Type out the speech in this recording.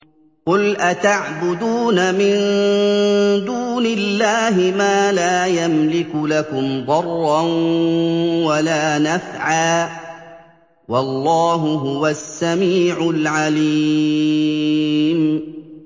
قُلْ أَتَعْبُدُونَ مِن دُونِ اللَّهِ مَا لَا يَمْلِكُ لَكُمْ ضَرًّا وَلَا نَفْعًا ۚ وَاللَّهُ هُوَ السَّمِيعُ الْعَلِيمُ